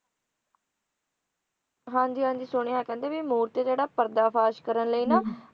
ਹਾਂ ਜੀ ਹਾਂ ਜੀ ਸੁਣਿਆ ਕਹਿੰਦੇ ਵੀ ਮੂਰਤੀ ਜਿਹੜਾ ਪਰਦਾ ਫਾਸ਼ ਕਰਨ ਲਈ ਨਾ